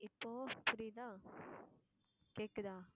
இப்போ புரியுதா கேக்குதா?